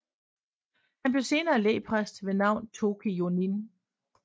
Han blev senere lægpræst ved navn Toki Jonin